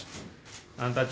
b